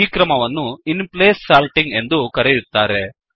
ಈ ಕ್ರಮವನ್ನು in place sorting ಎಂದು ಕರೆಯುತ್ತಾರೆ